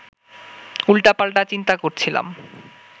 উল্টাপাল্টা চিন্তা করছিলাম